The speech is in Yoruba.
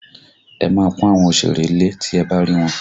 Ẹ máa pọn àwọn òsèré lé tí ẹ bá rí wọn!